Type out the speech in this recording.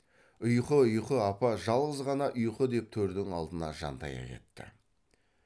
ұйқы ұйқы апа жалғыз ғана ұйқы деп төрдің алдына жантая кетті